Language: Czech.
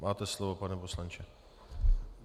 Máte slovo, pane poslanče.